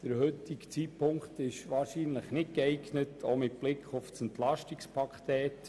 Der heutige Zeitpunkt ist eher nicht dazu geeignet, dies auch mit Blick auf das Entlastungspaket.